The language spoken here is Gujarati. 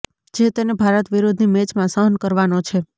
જે તેને ભારત વિરૂદ્ધની મેચમાં સહન કરવાનો છે